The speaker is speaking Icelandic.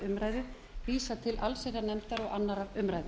umræðu vísað til allsherjarnefndar og annarrar umræðu